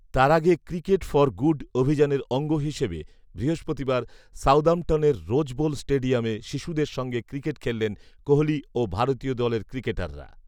তার আগে cricket for good অভিযানের অঙ্গ হিসেবে বৃহস্পতিবার সাউদাম্পটনের রোজ বোল স্টেডিয়ামে শিশুদের সঙ্গে ক্রিকেট খেললেন কোহলি ও ভারতীয় দলের ক্রিকেটাররা